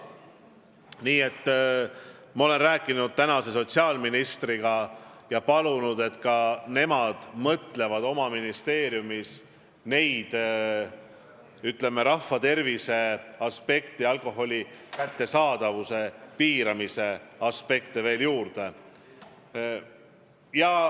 Ma olen rääkinud sotsiaalministriga ja palunud, et nad pakuksid oma ministeeriumis rahva tervist silmas pidavaid alkoholi kättesaadavuse piiramise võimalusi veel juurde.